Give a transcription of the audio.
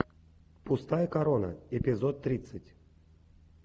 пустая корона эпизод тридцать